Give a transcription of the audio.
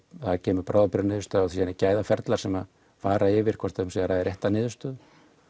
það kemur bráðabirgðaniðurstaða og síðan eru gæðaferlar sem fara yfir hvort um sé að ræða rétta niðurstöðu